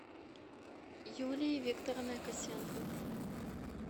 юлией викторовной косенко